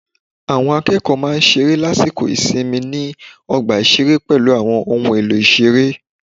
Àwọn akẹ́kọ̀ọ́ máa ń ṣeré lásìkò ìsinmi ni ọgbà ìṣeré pẹ̀lú àwọn ohun èlò ìṣeré